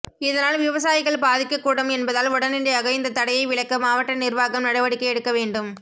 இதனால் விவசாயிகள் பாதிக்கக் கூடும் என்பதால் உடனடியாக இந்த தடையை விலக்க மாவட்ட நிர்வாகம் நடவடிக்கை எடுக்க வேண்டும்